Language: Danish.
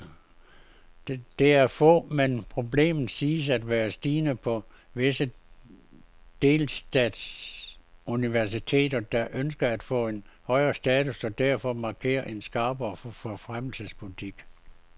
Det er få, men problemet siges at være stigende på visse delstatsuniversiteter, der ønsker at få en højere status og derfor markerer en skarpere forfremmelsespolitik.